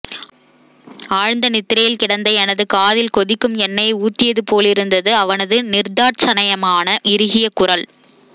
ஆழ்ந்த நித்திரையில் கிடந்த எனது காதில் கொதிக்கும் எண்ணையைக் ஊத்தியது போலிருந்தது அவனது நிர்த்தாட்சண்யமான இறுகிய குரல்